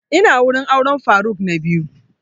Ina wurin auren faruk na biyu